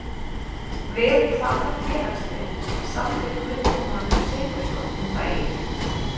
Við hvaða félagslið samdi Guðjón Valur Sigurðsson um daginn?